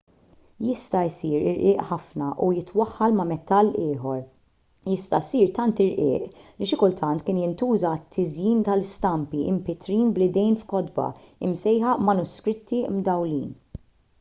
jista' jsir irqiq ħafna u jitwaħħal ma' metall ieħor jista' jsir tant irqiq li xi kultant kien jintuża għat-tiżjin tal-istampi mpittrin bl-idejn f'kotba msejħa manuskritti mdawwlin